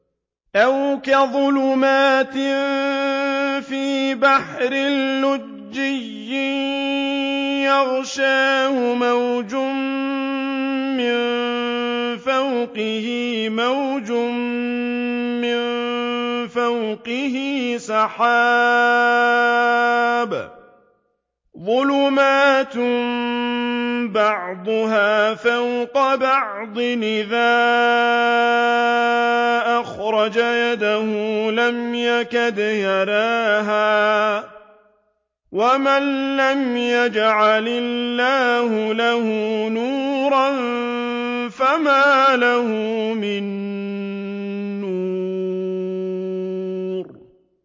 أَوْ كَظُلُمَاتٍ فِي بَحْرٍ لُّجِّيٍّ يَغْشَاهُ مَوْجٌ مِّن فَوْقِهِ مَوْجٌ مِّن فَوْقِهِ سَحَابٌ ۚ ظُلُمَاتٌ بَعْضُهَا فَوْقَ بَعْضٍ إِذَا أَخْرَجَ يَدَهُ لَمْ يَكَدْ يَرَاهَا ۗ وَمَن لَّمْ يَجْعَلِ اللَّهُ لَهُ نُورًا فَمَا لَهُ مِن نُّورٍ